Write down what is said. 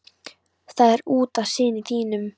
Það er út af syni þínum.